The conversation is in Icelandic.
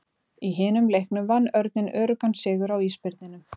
Í hinum leiknum vann Örninn öruggan sigur á Ísbirninum.